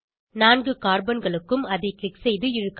4 கார்பன்களுக்கும் அதை க்ளிக் செய்து இழுக்கவும்